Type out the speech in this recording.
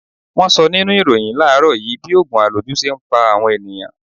Wọn sọ nínú ìròhìn láàrọ́ yìí bí ogun aloju ṣe ń pa àwọn ènìyàn.